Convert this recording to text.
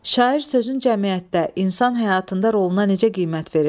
Şair sözün cəmiyyətdə, insan həyatında roluna necə qiymət verir?